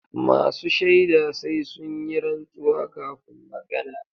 Masu shaida sai sun yi rantsuwa kafun magana.